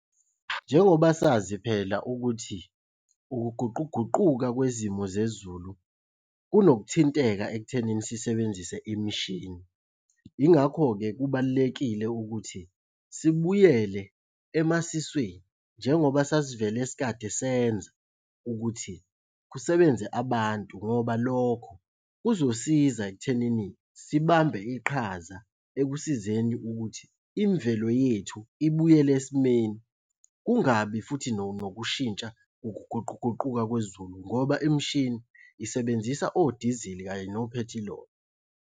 Njengoba sazi phela ukuthi ukuguquguquka kwezimo zezulu kunokuthinteka ekuthenini sisebenzise imishini. Yingakho-ke kubalulekile ukuthi sibuyele emasisweni njengoba sasivela sikade senza ukuthi kusebenze abantu ngoba lokho kuzosiza ekuthenini sibambe iqhaza ekusizeni ukuthi imvelo yethu ibuyele esimeni. Kungabi futhi nokushintsha ukuguquguquka kwezulu ngoba imishini isebenzisa odizili kanye nophethiloli.